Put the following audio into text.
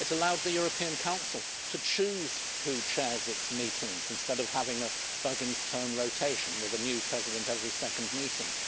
It has allowed the European Council to choose who chairs its meetings, instead of having a Buggins' turn rotation with a new President every second meeting.